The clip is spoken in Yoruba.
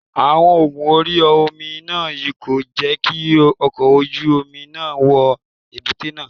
Omo ogun orí omi náà kò jẹ́ kí ọkọ̀ ojú omi náà wọ èbúté náà.